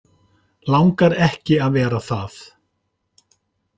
Langar ekki að vera það.